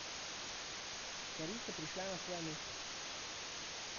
Stvari so prišle na svoje mesto.